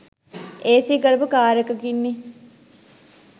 AC කරපු car එකකින්නෙ.